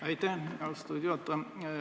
Aitäh, austatud juhataja!